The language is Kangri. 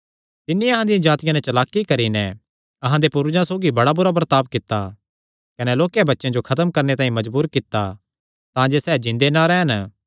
तिन्नी अहां दियां जातिया नैं चलाकी करी नैं अहां दे पूर्वजां सौगी बड़ा बुरा बर्ताब कित्ता कने लोक्के बच्चेयां जो खत्म करणे तांई मजबूर कित्ता तांजे सैह़ जिन्दे ना रैह़न